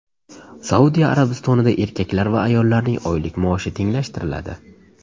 Saudiya Arabistonida erkaklar va ayollarning oylik maoshi tenglashtiriladi.